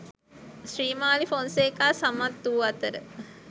ශ්‍රීමාලී ෆොන්සේකා සමත් වූ අතර